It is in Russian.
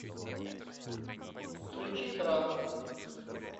включи транс